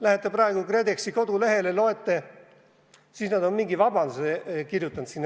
Lähete praegu KredExi kodulehele ja näete, et nad on mingi vabanduse sinna kirjutanud.